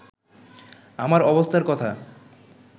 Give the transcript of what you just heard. আমার অবস্থার কথা